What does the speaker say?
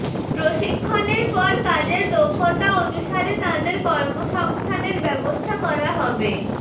প্রশিক্ষণের পর কাজের দক্ষতা অনুসারে তাঁদের কর্মসংস্থানের ব্যবস্থা করা হবে